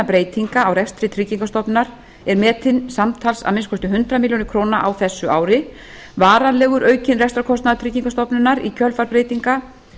breytinga á rekstri tryggingastofnunar er metinn samtals að minnsta kosti hundrað milljónir króna á þessu ári varanlegur aukinn rekstrarkostnaður tryggingastofnunar í kjölfar breytinga